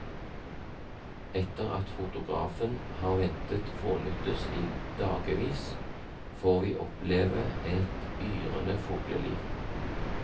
Etter at fotografen har ventet fånyttes i dagevis, får vi oppleve et yrende fugleliv.